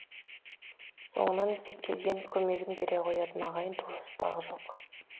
соңынан іздеп келген көмегін бере қоятын ағайын туыс тағы жоқ